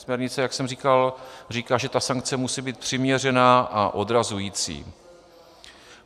Směrnice, jak jsem říkal, říká, že ta sankce musí být přiměřená a odrazující.